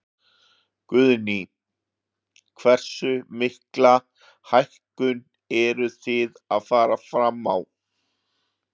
Guðný: Hversu mikla hækkun eruð þið að fara fram á?